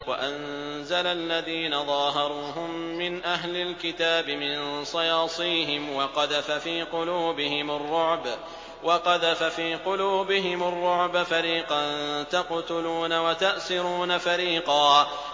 وَأَنزَلَ الَّذِينَ ظَاهَرُوهُم مِّنْ أَهْلِ الْكِتَابِ مِن صَيَاصِيهِمْ وَقَذَفَ فِي قُلُوبِهِمُ الرُّعْبَ فَرِيقًا تَقْتُلُونَ وَتَأْسِرُونَ فَرِيقًا